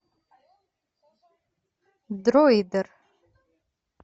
дроидер